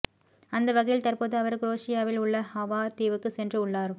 அந்த வகையில் தற்போது அவர் குரேஷியாவில் உள்ள ஹவார் தீவுக்கு சென்று உள்ளார்